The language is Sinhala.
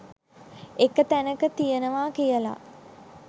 එක තැනක තියනවා කියලා